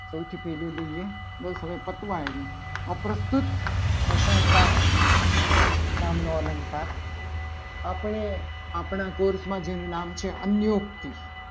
સૌથી પહેલું લઈએ બસ હવે પતવા આવ્યું. આ પ્રત્યુત પ્રશંસા નામનો અલંકાર આપણે આપણા કોર્સમાં જેનું નામ છે. અનયોગથી